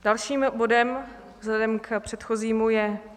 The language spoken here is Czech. Dalším bodem vzhledem k předchozímu je